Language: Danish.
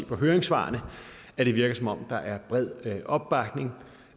på høringssvarene at det virker som om der er bred opbakning